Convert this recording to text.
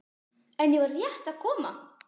En ég var rétt að koma.